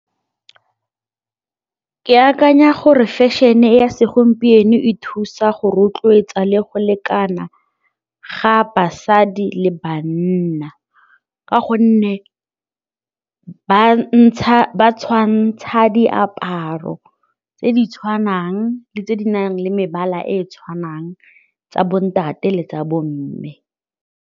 Ke akanya gore fashion-e ya segompieno e thusa go rotloetsa le go lekana ga basadi le bana ka gonne bana ba tshwantsha diaparo tse di tshwanang le tse di nang le mebala e e tshwanang tsa bontate le tsa bomme.